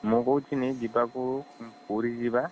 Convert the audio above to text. ମୁଁ କହୁଥିନୀ ଯିବାକୁ ପୁରୀ ଯିବା